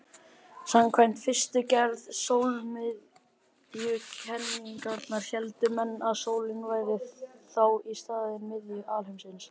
Samkvæmt fyrstu gerð sólmiðjukenningarinnar héldu menn að sólin væri þá í staðinn miðja alheimsins.